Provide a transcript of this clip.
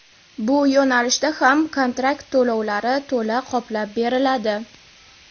bu yo‘nalishda ham kontrakt to‘lovlari to‘la qoplab beriladi.